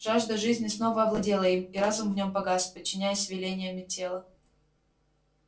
жажда жизни снова овладела им и разум в нём погас подчиняясь велениям тела